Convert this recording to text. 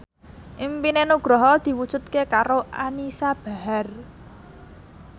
impine Nugroho diwujudke karo Anisa Bahar